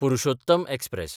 Purushottam express